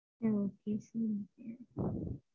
ஆஹ் function வேற வருது அதுக்குலாம்